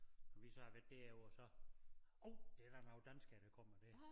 Nå vi så har været derovre så uh det da nogle danskere der kommer der